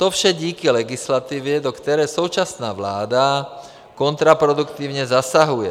To vše díky legislativě, do které současná vláda kontraproduktivně zasahuje.